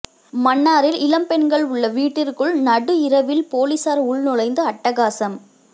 மன்னாரில் இளம் பெண்கள் உள்ள வீட்டிற்குள் நடுஇரவில் பொலிஸார் உள்நுழைந்து அட்டகாசம்